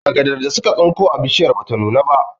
Agadar da suka tsinko a bishiyar bata nuna ba